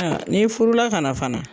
N'i furu la ka na fana